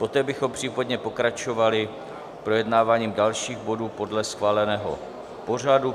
Poté bychom případně pokračovali projednáváním dalších bodů podle schváleného pořadu.